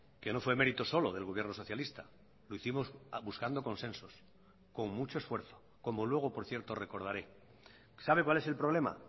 que no fue mérito solo del gobierno socialista lo hicimos buscando consensos con mucho esfuerzo como luego por cierto recordaré sabe cuál es el problema